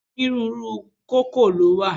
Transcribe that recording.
Onírúurú u kókò lówà